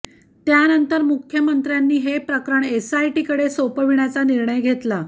त्यानंतर मुख्यमंत्र्यांनी हे प्रकरण एसआयटीकडे सोपविण्याचा निर्णय घेतला